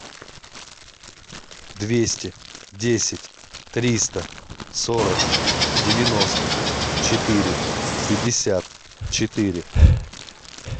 двести десять триста сорок девяносто четыре пятьдесят четыре